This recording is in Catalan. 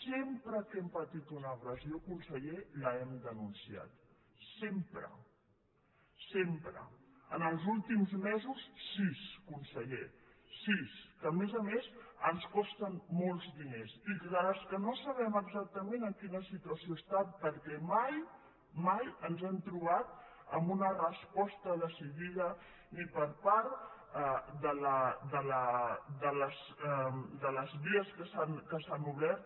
sempre que hem patit una agressió conseller l’hem denunciat sempre sempre en els últims mesos sis conseller sis que a més a més ens costen molts diners i que no sabem exactament en quina situació estan perquè mai mai ens hem trobat amb una resposta decidida ni per part de les vies que s’han obert